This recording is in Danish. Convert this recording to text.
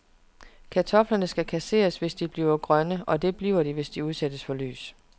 Kartofler skal kasseres, hvis de bliver grønne, og det bliver de, hvis de udsættes for lys.